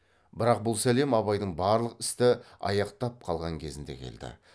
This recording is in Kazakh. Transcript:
бірақ бұл сәлем абайдың барлық істі аяқтап қалған кезінде келді